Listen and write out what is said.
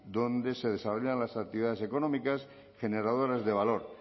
donde se desarrollan las actividades económicas generadoras de valor